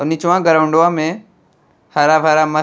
निचवा ग्राउंडवा में हरा-भरा मस्त --